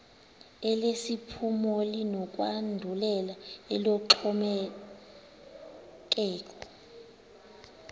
elesiphumo linokwandulela eloxhomekeko